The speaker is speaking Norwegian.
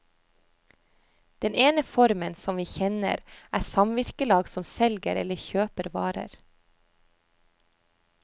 Den ene formen, som vi kjenner, er samvirkelag som selger eller kjøper varer.